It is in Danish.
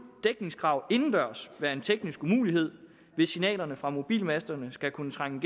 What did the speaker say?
dækningskrav indendørs være en teknisk umulighed hvis signalerne fra mobilmasterne skal kunne trænge